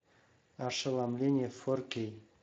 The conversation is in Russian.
ошеломление фор кей